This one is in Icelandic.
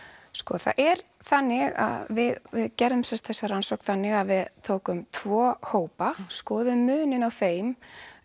það er þannig að við gerðum þessa rannsókn þannig að við tókum tvo hópa skoðuðum muninn á þeim